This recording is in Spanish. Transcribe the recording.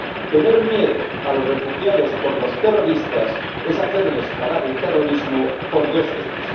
Tener miedo a los refugiados por los terroristas es hacerles pagar por el terrorismo dos veces.